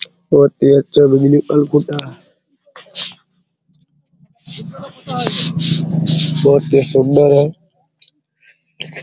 बहुत ही अच्छे बहुत ही सुंदर हैं |